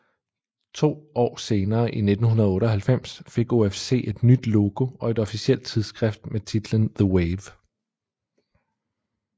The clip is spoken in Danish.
To år senere i 1998 fik OFC et nyt logo og et officielt tidsskrift med titlen The Wave